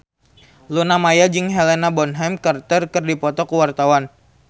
Luna Maya jeung Helena Bonham Carter keur dipoto ku wartawan